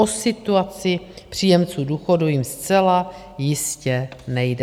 O situaci příjemců důchodu jim zcela jistě nejde.